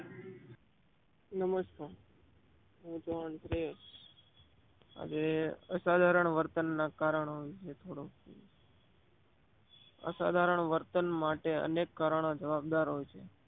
નમસ્કાર હું છું અનપ્રિય. આજે અસાધારણ વર્તન ના કારણો લીધે થોડા અસાધારણ વર્તન ના કારણે અનેક કારણો જવાબદાર હોય છે.